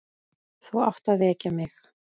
Þú átt að vekja mig.